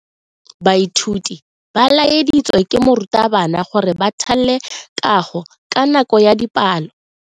Baithuti ba laeditswe ke morutabana gore ba thale kago ka nako ya dipalo.